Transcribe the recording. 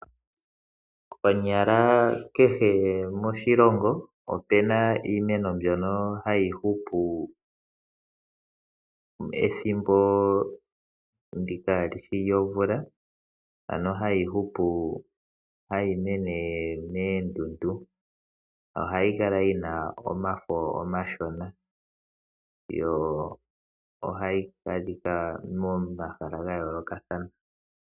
Konyala kehe moshilongo, opu na iimeno mbyoka hayi hupu ethimbo kaali shi lyomvula, ano hayi hupu, hayi mene moondundu nohayi kala yi na omafo omashona. Yo ohayi adhika momahala ga yoolokathana.